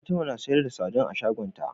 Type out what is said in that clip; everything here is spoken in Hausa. Fatima na siyar da sadin a shagon ta